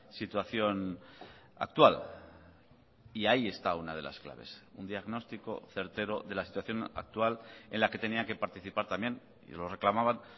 situación actual y ahí está una de las claves un diagnóstico certero de la situación actual en la que tenían que participar también y lo reclamaban